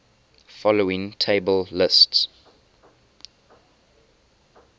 following table lists